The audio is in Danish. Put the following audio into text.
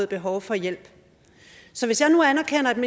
behov for hjælp så hvis jeg nu anerkender